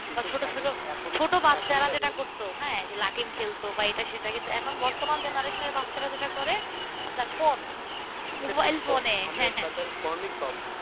Phone ই সব